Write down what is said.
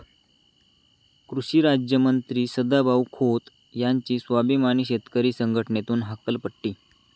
कृषिराज्यमंत्री सदाभाऊ खोत यांची स्वाभिमानी शेतकरी संघटनेतून हकालपट्टी